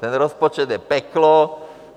Ten rozpočet je peklo.